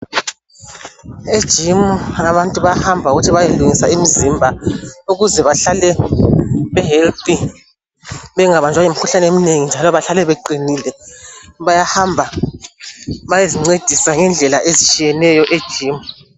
Ejimu abantu bahamba ukuthi beyelungisa imizimba ukuze bahlale beqinile bengabanjwa yimikhuhlane eminengi njalo bahlale beqinile. Bayahamba bayezincedisa ngendlela ezitshiyeneyo ejimu.